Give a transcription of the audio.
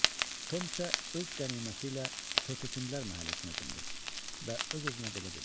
Tom isə öz qəniməti ilə Tötkündələr məhəlləsinə cümdü və öz-özünə belə dedi.